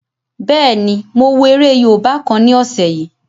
Bẹ́ẹ̀ni, mo wo eré yóòbá kan ní ọ̀sẹ̀ yìí